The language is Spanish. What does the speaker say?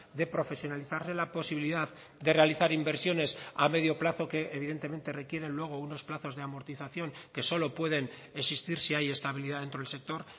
de profesionalizarse la posibilidad de realizar inversiones a medio plazo que evidentemente requieren luego unos plazos de amortización que solo pueden existir si hay estabilidad dentro del sector